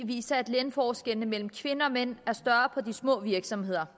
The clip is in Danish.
viser at lønforskellene mellem kvinder og mænd er større på de små virksomheder